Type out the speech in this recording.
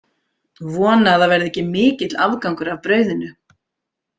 Vona að það verði ekki mikill afgangur af brauðinu.